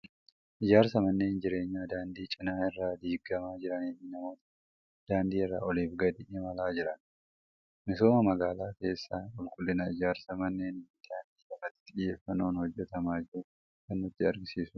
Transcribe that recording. Ijaarsa manneen jireenyaa daandii cinaa irraan diigamaa jiranii fi namoota daandii irra oliif gadi imalaa jiran. Misooma magaalaa keessaa qulqullina ijaarsa manneenii fi daandii irratti xiyyeeffannoon hojjetamaa jiru kan nutti agarsiisudha.